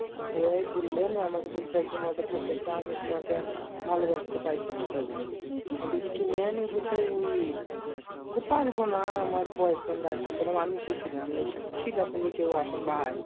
ওই বুল্লে, নিয়ে আমাকে বুলছে একদিন হটাৎ থাকতে থাকতে আমি তুমাকে আর ভালোবাতে পারবো না, তাই বুলছে আমি বুলছি কেনি বলছে ওই বুলছে পারবো না আমার boyfriend আছে আমি বললাম আমি কে ছিলাম? আমাকে বুলছে ছিলা তুমি কেউ এখন ভাই,